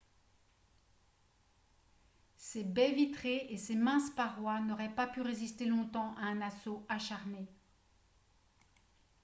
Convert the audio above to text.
ses baies fenêtres vitrées et ses minces parois n'auraient pas pu résister longtemps à un assaut acharné